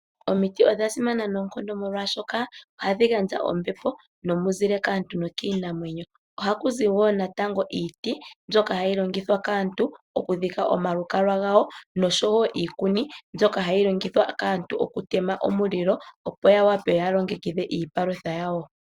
Omiti odha simana noonkondo molwaashoka ohadhi gandja ombepo nomuzile kaantu nokiinamwenyo. Ohaku zi woo natango iiti mbyoka hayi longithwa kaantu okudhika omalukalwa gawo noshowoo iikuni mbyoka hayi longithwa kaantu okutema omulilo , opo yawape yalongekidhe iipalutha yawo.